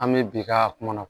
An bɛ bi k'a kuma na